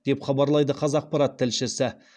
деп хабарлайды қазақпарат тілшісі